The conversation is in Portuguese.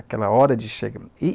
Aquela hora de chegar. E